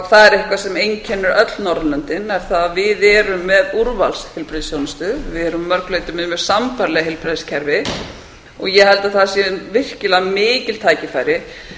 það er eitthvað sem einkennir öll norðurlöndin er það að við erum með úrvals heilbrigðisþjónustu við erum að mörgu leyti með sambærileg heilbrigðiskerfi ég held að það sé virkilega mikil tækifæri